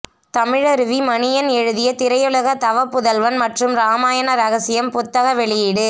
தமிழருவி மணியன் எழுதிய திரையுலக தவப்புதல்வன் மற்றும் இராமாயண ரகசியம் புத்தக வெளியீடு